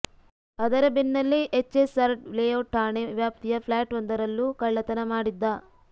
ಅದರ ಬೆನ್ನಲ್ಲೇ ಎಚ್ಎಸ್ಆರ್ ಲೇಔಟ್ ಠಾಣೆ ವ್ಯಾಪ್ತಿಯ ಫ್ಲ್ಯಾಟ್ ಒಂದರಲ್ಲೂ ಕಳ್ಳತನ ಮಾಡಿದ್ದ